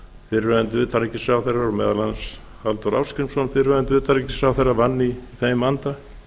fyrrverandi utanríkisráðherra og meðal annars halldór ásgrímsson fyrrverandi utanríkisráðherra vann í þeim anda